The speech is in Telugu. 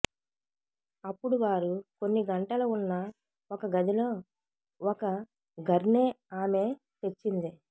అప్పుడు వారు కొన్ని గంటల ఉన్న ఒక గదిలో ఒక గర్నే ఆమె తెచ్చింది